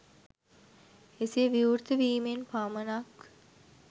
එසේ විවෘත වීමෙන් පමණක්